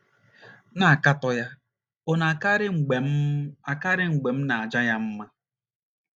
na - akatọ ya ọ̀ na - akarị mgbe m akarị mgbe m na - aja ya mma?